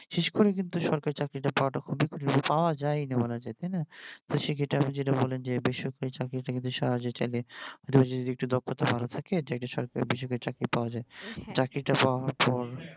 শেষ করে কিন্তু সরকারি চাকরিটা পাওয়াটা খুবই কঠিন পাওয়া যায়ই না বলা যায় তাই না সেক্ষেত্রে আপনি যেইটা বললেন যে বেসরকারি চাকরিটা কিন্তু সহজে চাইলে যদি দক্ষতা একটু ভালো থাকে একটা বেসরকারি চাকরি পাওয়া যায় হ্যা চাকরিটা পাওয়ার পর